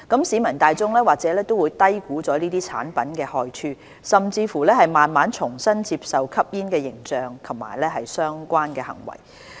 市民大眾或會低估這些產品的害處，甚至慢慢重新接受吸煙的形象及相關行為。